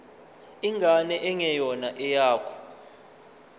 ingane engeyona eyakho